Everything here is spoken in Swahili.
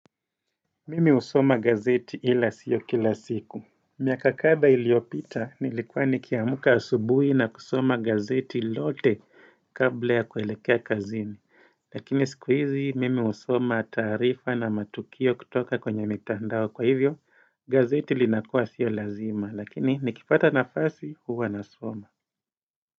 Mimi husoma gazeti ila sio kila siku miaka kadha iliopita nilikuwa nikiamuka asubuhi na kusoma gazeti lote kabla ya kuelekea kazini Lakini siku hizi mimi husoma taarifa na matukio kutoka kwenye mitandao kwa hivyo gazeti linakua sio lazima lakini nikipata nafasi huwa nasoma.